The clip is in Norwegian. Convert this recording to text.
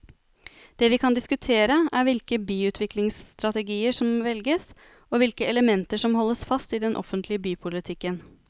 Det vi kan diskutere er hvilke byutviklingsstrategier som velges og hvilke elementer som holdes fast i den offentlige bypolitikken.